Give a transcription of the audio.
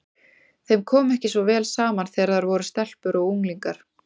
Þeim kom ekki svo vel saman þegar þær voru stelpur og unglingar.